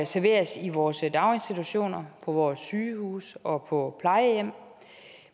serveres i vores daginstitutioner på vores sygehuse og på plejehjem